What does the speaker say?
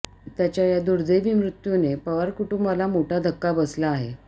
त्याच्या या दुदैवी मृत्यूने पवार कुटूंबाला मोठा धक्का बसला आहे